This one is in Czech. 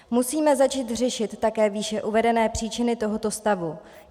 Musíme začít řešit také výše uvedené příčiny tohoto stavu.